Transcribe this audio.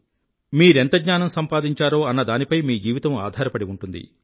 మీరెంత జ్ఞానం సంపాదించారో అన్నదానిపై మీ జీవితం ఆధారపడి ఉంటుంది